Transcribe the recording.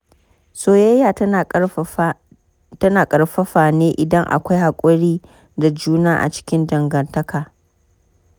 Soyayya tana ƙarfafa ne idan akwai haƙuri da juna a cikin dangantaka.